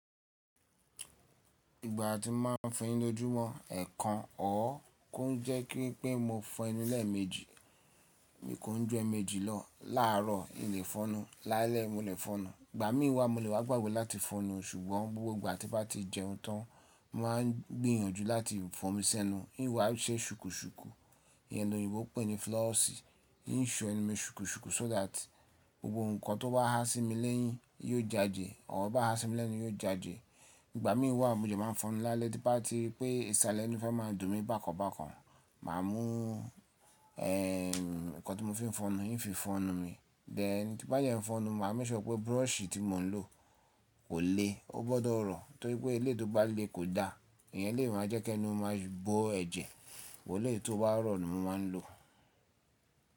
Ìgbà tí mo máa ń fẹyin lójú mọ, ẹ̀ẹ̀kan ọ̀r kó ń jẹ́ kí ń pé mo fọ enú lẹ meji. Mi kò ń ju eeméjì lọ, laarọ̀ mo lè fọnú, lálẹ́ mo lè fọnú. Ìgbà mí n wá mo lè wá gbàgbé láti fọnú ṣùgbọ́n gbogbo ìgbà tí bá ti jẹun tán, mo má ń gbìyànjú láti fọ mí sẹ́nu. N wà ń ṣe ṣùkù ṣùkù, ìyẹn òyìnbó pè ní floss, ń ń so ẹni mi ṣùkù ṣùkù so that gbogbo nǹkan tó bá há sí mi lẹ́yìn yóò jade ọ bá há sí mi lẹ́nu yóò jẹ́jẹ́. Ìgbà mí n wá mo dẹ má ń fọnú lálẹ́ tí n bá ti ri pé ìsàlẹ́ inu fẹ́ máa dùn mí bákan bákan. Màá mú ẹ́ nǹkan tí mo fi ń fọnú híin fi fọnú mi. Bẹ́ẹ̀ ni tí bá dẹ n fọnú, màá mẹ́sọ̀ pé búrọ̀ṣì tí mo ń lò kò le, ó gbọ́dọ̀ rọ̀. Torí pé eléyi tó bá le kò da, ìyẹn lè máa jẹ́ kí ẹni ó máa bọ́ ẹ̀jẹ̀. Wò eléyi tó bá rọ̀ ni mo má ń lò.